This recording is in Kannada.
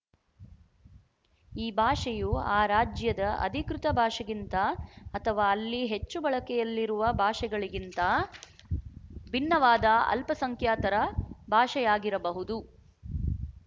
ಈ ಭಾಷೆಯು ಆ ರಾಜ್ಯದ ಅಧಿಕೃತ ಭಾಷೆಗಿಂತ ಅಥವಾ ಅಲ್ಲಿ ಹೆಚ್ಚು ಬಳಕೆಯಲ್ಲಿರುವ ಭಾಷೆಗಳಿಗಿಂತ ಭಿನ್ನವಾದ ಅಲ್ಪಸಂಖ್ಯಾತರ ಭಾಷೆಯಾಗಿರಬಹುದು